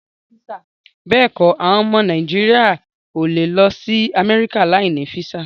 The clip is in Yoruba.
Béèkọ, àwọn ọmọ Nàìjíríà o lè lọ sí Amẹ́ríkà láì ní físà